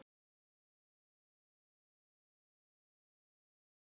Einn þeirra, Egill Ísleifsson að nafni, beið þegar bana.